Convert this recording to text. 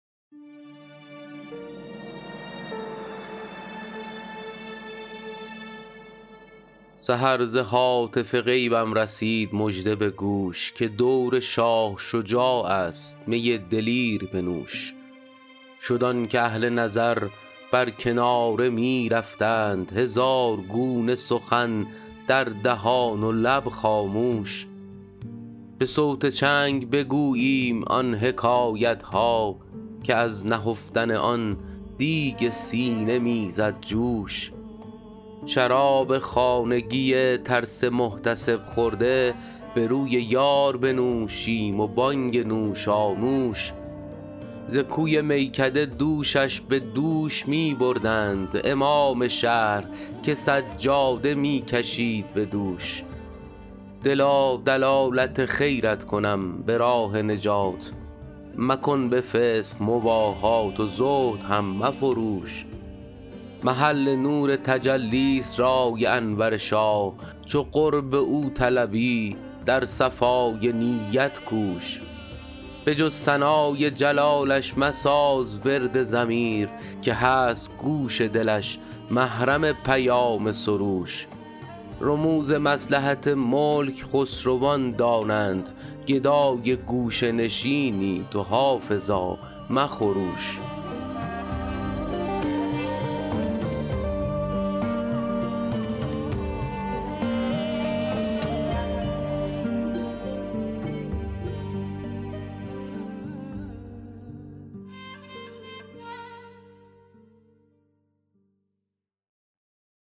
سحر ز هاتف غیبم رسید مژده به گوش که دور شاه شجاع است می دلیر بنوش شد آن که اهل نظر بر کناره می رفتند هزار گونه سخن در دهان و لب خاموش به صوت چنگ بگوییم آن حکایت ها که از نهفتن آن دیگ سینه می زد جوش شراب خانگی ترس محتسب خورده به روی یار بنوشیم و بانگ نوشانوش ز کوی میکده دوشش به دوش می بردند امام شهر که سجاده می کشید به دوش دلا دلالت خیرت کنم به راه نجات مکن به فسق مباهات و زهد هم مفروش محل نور تجلی ست رای انور شاه چو قرب او طلبی در صفای نیت کوش به جز ثنای جلالش مساز ورد ضمیر که هست گوش دلش محرم پیام سروش رموز مصلحت ملک خسروان دانند گدای گوشه نشینی تو حافظا مخروش